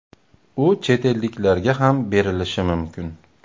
U chet elliklarga ham berilishi mumkin.